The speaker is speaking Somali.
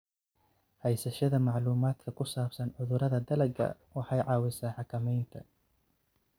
Haysashada macluumaadka ku saabsan cudurrada dalagga waxay caawisaa xakamaynta.